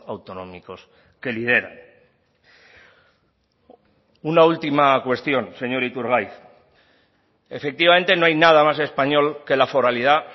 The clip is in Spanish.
autonómicos que lideran una última cuestión señor iturgaiz efectivamente no hay nada más español que la foralidad